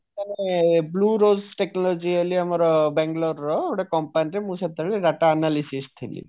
blue raise technology ବୋଲି ଆମର ବାଙ୍ଗାଲୋର ର ଗୋଟେ company ରେ ମୁଁ ସେତେବେଳେ data analyst ଥିଲି